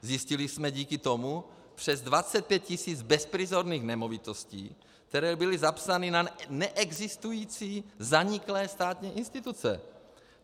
Zjistili jsme díky tomu přes 25 tis. bezprizorných nemovitostí, které byly zapsány na neexistující zaniklé státní instituce.